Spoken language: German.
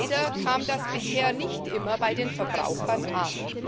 Leider kam das bisher nicht immer bei den Verbrauchern an.